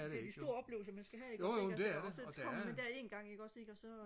det er de store oplevelser man skal have ikke også ikke altså så kommer man der en gang ikke også ikke og så